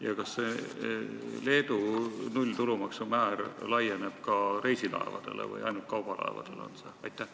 Ja kas see Leedu nulltulumaksumäär laieneb ka reisilaevadele või kehtib ainult kaubalaevadele?